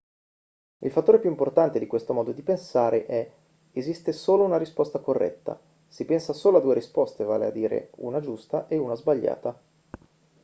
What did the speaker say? il fattore più importante di questo modo di pensare è esiste solo una risposta corretta si pensa solo a due risposte vale a dire una giusta e una sbagliata